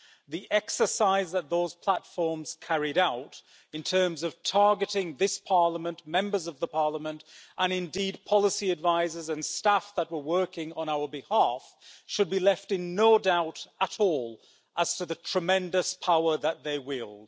the exercise that those platforms carried out in terms of targeting this Parliament, Members of Parliament, and indeed, policy advisors and staff that were working on our behalf, should leave them in no doubt at all as to the tremendous power that they wield.